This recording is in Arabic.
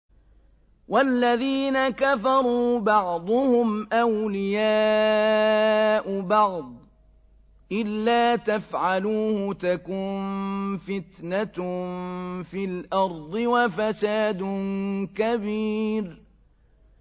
وَالَّذِينَ كَفَرُوا بَعْضُهُمْ أَوْلِيَاءُ بَعْضٍ ۚ إِلَّا تَفْعَلُوهُ تَكُن فِتْنَةٌ فِي الْأَرْضِ وَفَسَادٌ كَبِيرٌ